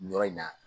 Nin yɔrɔ in na